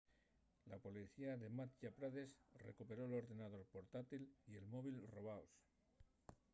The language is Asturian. la policía de madhya pradesh recuperó l’ordenador portátil y el móvil robaos